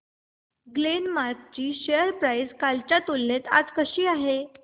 Glenmark ची share price कालच्या तुलनेत आज कशी आहे